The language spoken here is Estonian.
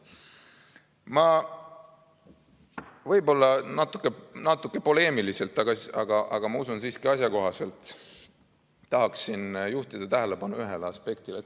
Ma tahan võib-olla natuke poleemiliselt, aga usun, et siiski asjakohaselt juhtida tähelepanu ühele aspektile.